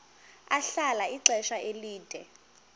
ahlala ixesha elide